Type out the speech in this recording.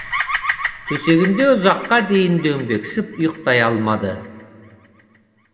төсегінде ұзаққа дейін дөңбекшіп ұйықтай алмады